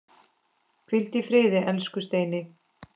Hvíldu í friði, elsku Steini.